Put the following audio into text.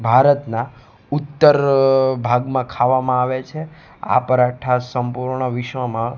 ભારતના ઉત્તર ભાગ માં ખાવામાં આવે છે આ પરાઠા સંપૂર્ણ વિશ્વ માં--